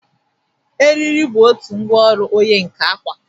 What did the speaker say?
Eriri bụ otu ngwa ọrụ onye nka akwa.